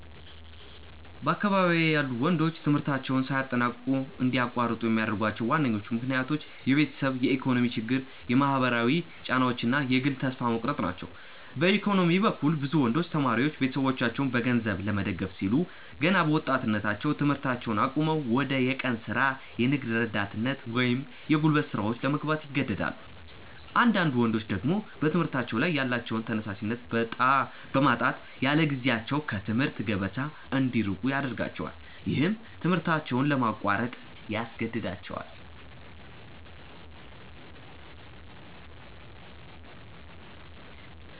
በአካባቢዬ ያሉ ወንዶች ትምህርታቸውን ሳያጠናቅቁ እንዲያቋርጡ የሚያደርጓቸው ዋነኞቹ ምክንያቶች የቤተሰብ የኢኮኖሚ ችግር፣ የማህበራዊ ጫናዎች እና የግል ተስፋ መቁረጥ ናቸው። በኢኮኖሚ በኩል፣ ብዙ ወንዶች ተማሪዎች ቤተሰቦቻቸውን በገንዘብ ለመደገፍ ሲሉ ገና በወጣትነታቸው ትምህርታቸውን አቁመው ወደ የቀን ሥራ፣ የንግድ ረዳትነት ወይም የጉልበት ሥራዎች ለመግባት ይገደዳሉ። አንዳንዳድ ወንዶች ደግሞ በትምህርታቸው ላይ ያላቸውን ተነሳሽነት በማጣት ያለጊዜያቸው ከትምህርት ገበታ እንዲርቁ ያደርጋቸዋል። ይህም ትምህርታቸውን ለማቋረጥ ያስገድዳቸዋል።